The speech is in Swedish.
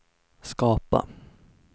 skapa